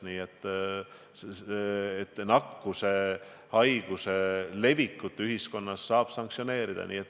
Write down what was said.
Nii et nakkushaiguse levitamist ühiskonnas saab sanktsioneerida.